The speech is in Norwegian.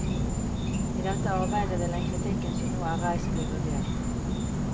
I dette arbeidet vil den kritikken som nå er reist, bli vurdert.